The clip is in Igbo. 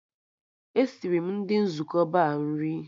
E siri m ndị nzukọ Ba nri